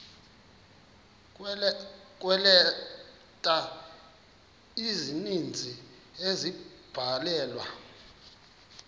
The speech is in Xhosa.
kweeleta ezininzi ezabhalelwa